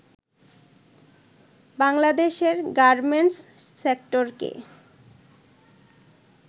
বাংলাদেশের গার্মেন্টস সেক্টরকে